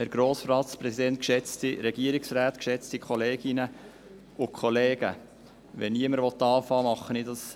Wenn niemand anfangen will, übernehme ich dies.